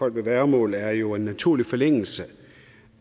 folk med værgemål er jo en naturlig forlængelse